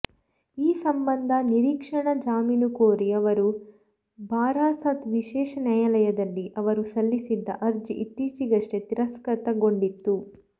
ಈ ಸಂಬಂಧ ನಿರೀಕ್ಷಣಾ ಜಾಮೀನು ಕೋರಿ ಅವರು ಬಾರಾಸಾತ್ ವಿಶೇಷ ನ್ಯಾಯಾಲಯದಲ್ಲಿ ಅವರು ಸಲ್ಲಿಸಿದ್ದ ಅರ್ಜಿ ಇತ್ತೀಚೆಗಷ್ಟೆ ತಿರಸ್ಕೃತಗೊಂಡಿತ್ತು